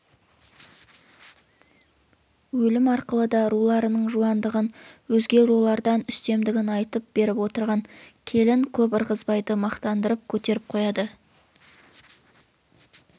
өлім арқылы да руларының жуандығын өзге рулардан үстемдігін айтып беріп отырған келін көп ырғызбайды мақтандырып көтеріп қояды